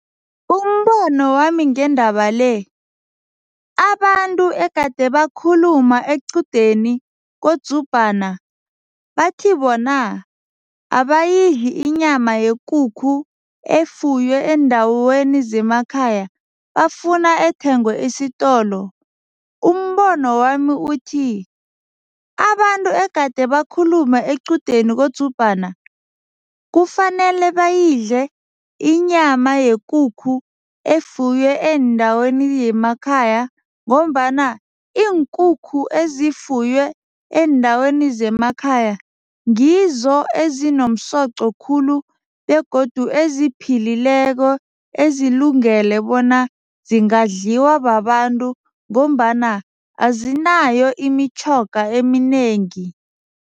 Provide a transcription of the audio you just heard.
Umbono wami ngendaba le, abantu egade bakhuluma equdeni koDzubhana bathi bona abayidli inyama yekukhu efuywe eendaweni zemakhaya, bafuna ethengwe esitolo, umbono wami uthi, abantu egade bakhulume equdeni koDzubhana kufanele bayidle inyama yekukhu efuywe eendaweni yemakhaya ngombana iinkukhu eziyifuywe eendaweni zemakhaya ngizo ezinomsoqo khulu begodu eziphephileko, ezilungele bona singadliwa babantu ngombana azinayo imitjhoga eminengi.